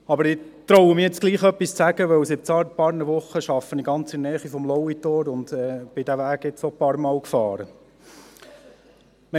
Aber ich getraue mich nun trotzdem, etwas zu sagen, weil ich seit ein paar Wochen ganz in der Nähe des Lauitors arbeite und diesen Weg nun auch einige Male gefahren bin.